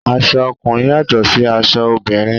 Aṣọ ọkùnrin yàtọ̀ sí aṣọ obìnrin.